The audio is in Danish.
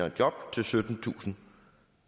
et job til syttentusind